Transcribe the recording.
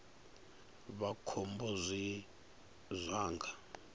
vha khombo zwine zwa nga